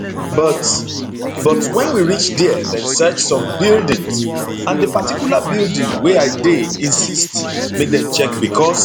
but but wen we reach dia dem search some buildings and di particular building wey i dey insist make dem check becos